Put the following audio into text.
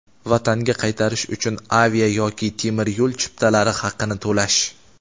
Vatanga qaytarish uchun avia yoki temir yo‘l chiptalari haqini to‘lash;.